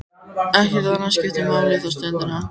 Ekkert annað skiptir máli þá stundina.